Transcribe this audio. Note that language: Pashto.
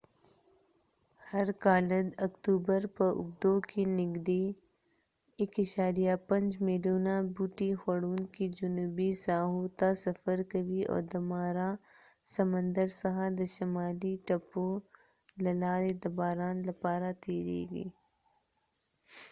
هر کالد اکتوبر په اوږدو کې نږدې 1.5 میلیونه بوټي خوړونکي جنوبي ساحو ته سفر کوي او د مارا سمندر څخه د شمالي تپو له لارې د باران لپاره تیرېږي